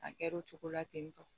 A kɛra o cogo la ten tɔ